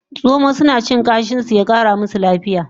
Zomo suna cin kashin su ya Kara musu lafiya